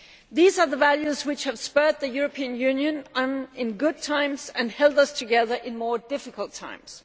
These are the values which have spurred the European Union on in good times and held us together in more difficult times.